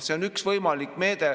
See on üks võimalik meede.